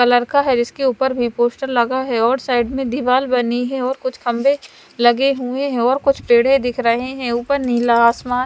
colour का है जिसके ऊपर भी पोस्टर लगा है और साइड में दीवाल बनी है और कुछ खम्भे लगे हुए हैं और कुछ पड़ें दिख रहे हैं ऊपर नीला आसमान --